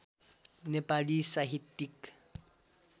नेपाली साहित्यिक